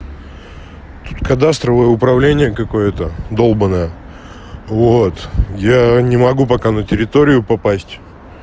тут кадастровое управление какое-то долбаное вот я не могу пока на территорию попасть